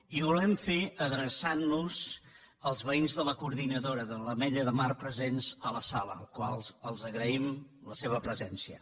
i ho volem fer adreçant nos al veïns de la coordinadora de l’ametlla de mar presents a la sala als quals agraïm la seva presència